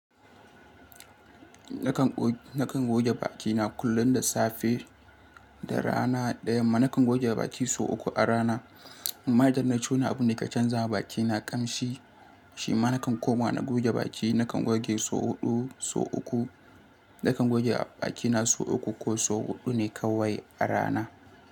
Nakan goge bakina kullum da safe da rana daya ma nakan goge baki sau uku a rana. Ma idan na ci wani abu da ke canzawa bakina ƙamshi, shi ma nakan koma na goge baki. Nakan goge sau hudu sau uku nakan goge bakina sau uku ko sau huɗu ne kawai a rana.